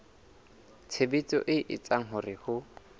tshebetso e etsang hore ho